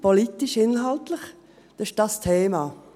Das ist politisch-inhaltlich dieses Thema.